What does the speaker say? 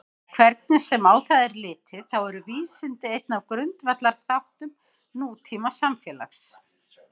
Hvernig sem á það er litið þá eru vísindi einn af grundvallarþáttum nútímasamfélags.